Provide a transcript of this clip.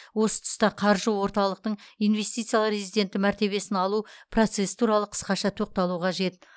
осы тұста қаржы орталықтың инвестициялық резиденті мәртебесін алу процессі туралы қысқаша тоқталу қажет